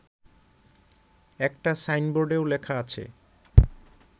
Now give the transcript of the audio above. একটা সাইনবোর্ডেও লেখা আছে